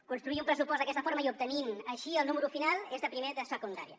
construir un pressupost d’aquesta forma i obtenir així el número final és de primer de secundària